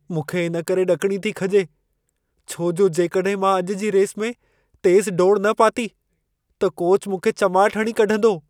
मुंखे इन करे ॾकिणी थी खॼे छो जो जेकॾहिं मां अॼु जी रेस में तेज़ु डोड़ न पाती, त कोचु मूंखे चमाट हणी कढंदो।